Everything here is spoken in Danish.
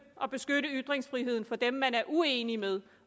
at beskytte ytringsfriheden for dem man er uenig med